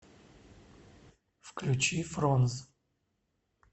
включи фронз